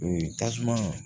tasuma